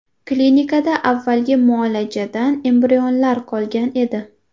Klinikada avvalgi muolajadan embrionlar qolgan edi.